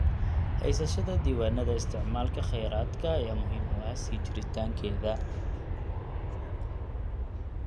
Haysashada diiwaannada isticmaalka kheyraadka ayaa muhiim u ah sii jiritaankeeda.